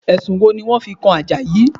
Ẹ̀sùn wo ni wọ́n fi kan Àjàyí?